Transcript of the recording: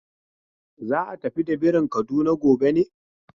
Za a tafi da birin Kaduna gobe ne?